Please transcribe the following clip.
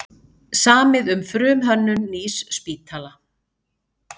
Samið um frumhönnun nýs spítala